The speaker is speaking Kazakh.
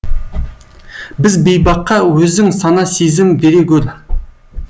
біз бейбаққа өзің сана сезім бере гөр